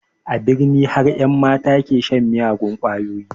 A birni har ƴan mata ke shan miyagun ƙwayoyi